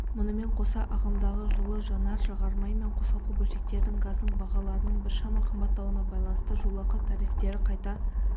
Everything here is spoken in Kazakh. мұнымен қоса ағымдағы жылы жанар-жағармай мен қосалқы бөлшектердің газдың бағаларының біршама қымбаттауына байланысты жолақы тарифтері қайта